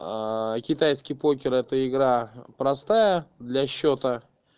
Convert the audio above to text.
китайский покер это игра простая для счета